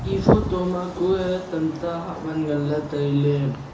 e photo ma kue tamta haawaan ngan la taile.